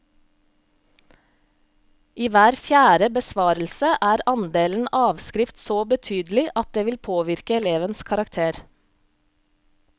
I hver fjerde besvarelse er andelen avskrift så betydelig at det vil påvirke elevens karakter.